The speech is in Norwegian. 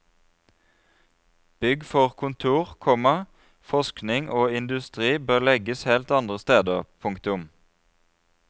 Bygg for kontor, komma forskning og industri bør legges helt andre steder. punktum